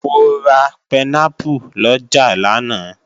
Mo ra pẹnápù lọjà lánàá